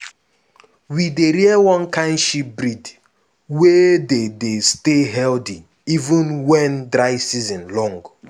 we dey rear one kind sheep breed wey dey dey stay healthy even when dry season long.